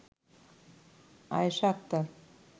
Ayesha Akter